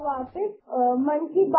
"